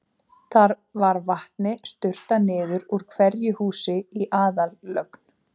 Þar var vatni sturtað niður úr hverju húsi í aðallögn.